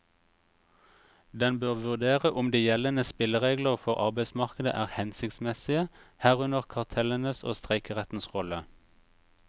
Den bør vurdere om de gjeldende spilleregler for arbeidsmarkedet er hensiktsmessige, herunder kartellenes og streikerettens rolle.